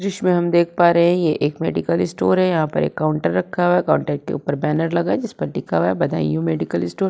जिसमें हम देख पा रहे हे ये एक मेडिकल स्टोर है। यहाँ पर एक काउंटर रखा हुआ है काउंटर के ऊपर बैनर लगा है जिस पर लिखा है बदायूं मेडिकल स्टोर ।